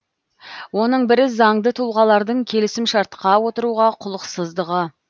оның бірі заңды тұлғалардың келісімшартқа отыруға құлықсыздығы